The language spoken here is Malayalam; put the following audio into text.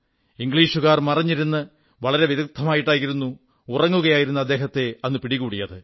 ഇംഗ്ലീഷുകാർ മറഞ്ഞിരുന്ന് വളരെ വിദഗ്ധമായിട്ടായിരുന്നു ഉറങ്ങുകയായിരുന്ന അദ്ദേഹത്തെ അന്ന് പിടികൂടിയത്